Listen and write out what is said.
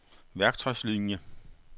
værktøjslinier